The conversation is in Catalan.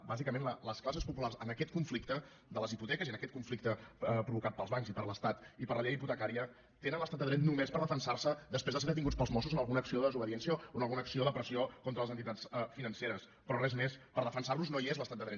bàsicament les classes populars en aquest conflicte de les hipoteques i en aquest conflicte provocat pels bancs i per l’estat i per la llei hipotecària tenen l’estat de dret només per defensar se després de ser detinguts pels mossos en alguna acció de desobediència o en alguna acció de pressió contra les entitats financeres però res més per defensar los no hi és l’estat de dret